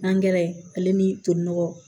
ale ni to nɔgɔ